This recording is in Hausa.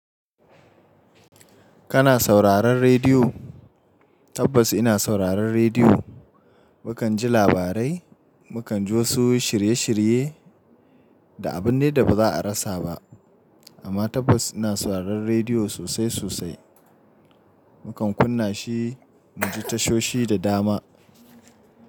Kana sauraron rediyo? Tabbas ina sauraron rediyo. Mukan ji labarai, mu kan ji wasu shirye-shirye da abun dai da ba za a rasa ba. Amma tabbas ina sauraron rediyo sosai sosai. Mu kan kunna shi mu ji tashoshi da dama.